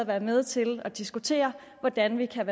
være med til at diskutere hvordan vi kan